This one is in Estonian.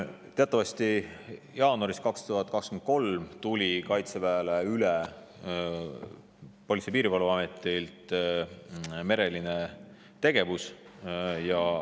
Teatavasti jaanuaris 2023 tuli Politsei- ja Piirivalveametilt Kaitseväele üle mereline tegevus.